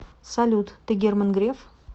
салют ты герман греф